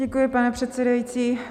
Děkuji, pane předsedající.